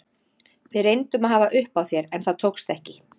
Við reyndum að hafa upp á þér en það tókst ekki.